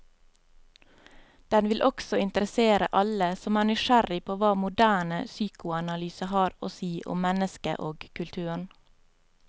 Den vil også interessere alle som er nysgjerrig på hva moderne psykoanalyse har å si om mennesket og kulturen.